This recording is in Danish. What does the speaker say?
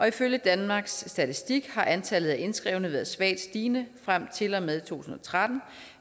ifølge danmarks statistik har antallet af indskrevne været svagt stigende frem til og med to tusind og tretten